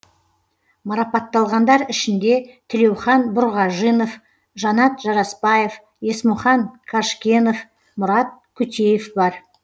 марапатталғандар ішінде тілеухан бұрғажинов жанат жарасбаев есмұхан қажкенов мұрат қутеев бар